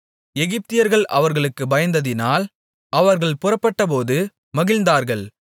எகிப்தியர்கள் அவர்களுக்குப் பயந்ததினால் அவர்கள் புறப்பட்டபோது மகிழ்ந்தார்கள்